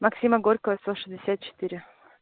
максима горького сто шестьдесят четыре